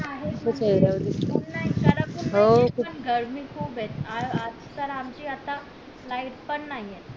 पण गर्मी खूप ये आज तर आमची आता light नाहीये